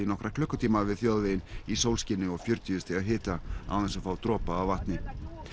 nokkra klukkutíma við þjóðveginn í sólskini og fjörtíu stiga hita án þess að fá dropa af vatni